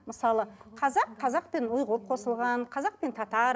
мысалы қазақ қазақпен ұйғыр қосылған қазақ пен татар